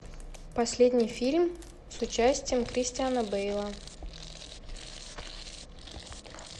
последний фильм с участием кристиана бейла